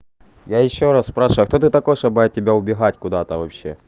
я ещё раз спрашиваю кто ты такой чтобы от тебя убегать куда-то